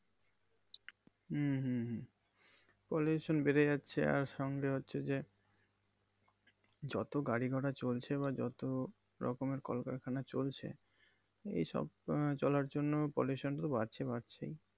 হম হম হম। Polution বেরে যাচ্ছে আর সঙ্গে হচ্ছে যে যত গাড়ি ঘোরা চলছে বা যত রকমের কলকারখানা ছলছে এই সব আহ চলার জন্য pollution টা বাড়ছে, বাড়ছেই।